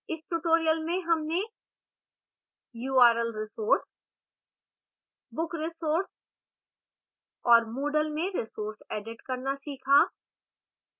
इस tutorial में हमने url resource book resource और moodle में resources एडिट करना सीखा